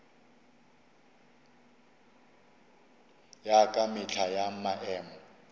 ya ka mehla ya maemo